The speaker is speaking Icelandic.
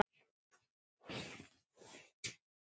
Hún var sett til hliðar.